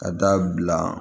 Ka da bila